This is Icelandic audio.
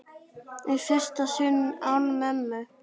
Í fyrsta sinn án mömmu.